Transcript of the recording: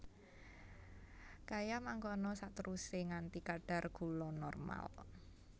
Kaya mangkono saterusé nganti kadar gula normal